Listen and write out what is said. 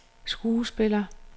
skuespiller